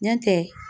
Ɲɔ tɛ